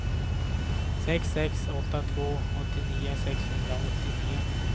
sex sex åtta två åttionio sexhundraåttionio